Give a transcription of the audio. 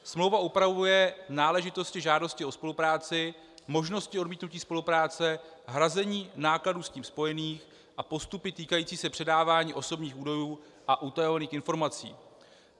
Smlouva upravuje náležitosti žádosti o spolupráci, možnosti odmítnutí spolupráce, hrazení nákladů s tím spojených a postupy týkající se předávání osobních údajů a utajovaných informací.